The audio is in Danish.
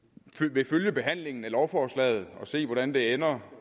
vil følge behandlingen af lovforslaget og se hvordan det ender